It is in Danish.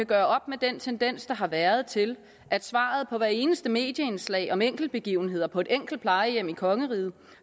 gøre op med den tendens der har været til at svaret på hvert eneste medieindslag om enkeltbegivenheder på et enkelt plejehjem i kongeriget